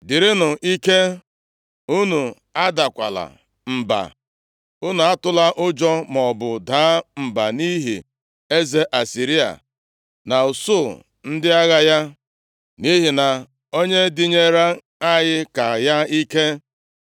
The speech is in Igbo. “Dịrịnụ ike, unu adakwala mba. Unu atụla ụjọ maọbụ daa mba nʼihi eze Asịrịa na usuu ndị agha ya, nʼihi na onye dịnyeere anyị ka ya ike.